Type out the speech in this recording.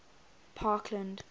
parkland